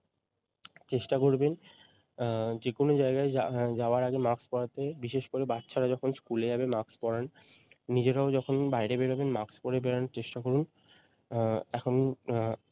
চেষ্টা করবেন আহ যে কোনো জায়গায় যা যাবার আগে মাস্ক পরাতে বিশেষ করে বাচ্চারা যখন স্কুলে যাবে মাস্ক পরান নিজেরাও যখন বাইরে বেরোবেন মাস্ক পরে বেরোনোর চেষ্টা করুন আহ এখন আহ